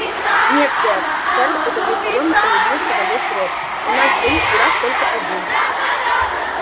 нет сэр ферл удовлетворённо улыбнулся во весь рот у нас двоих дурак только один